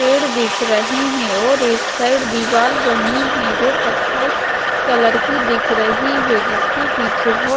पेड़ दिख रहे हैं और एक साइड दिवाल बनी है जो कत्थई कलर की दिख रही है जिसके पीछे बहोत--